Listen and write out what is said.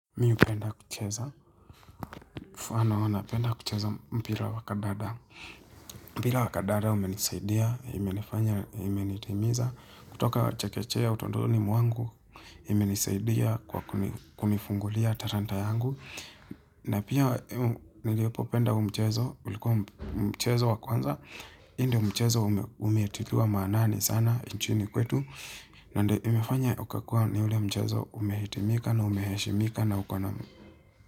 Mi hupenda kucheza, mfano napenda kucheza mpira wakadada. Mpira wakadada umenisaidia, imenifanya, imenitimiza. Kutoka chekechea utotoni mwangu, imenisaidia kwa kunifungulia talanta yangu. Na pia nilipo penda huu mchezo, ulikuwa mchezo wa kwanza. Hii ndio umchezo umetiliwa maanani sana, inchini kwetu. Na ndio imefanya ukakuwa ni ule mchezo umehitimika na umeheshimika na uko na.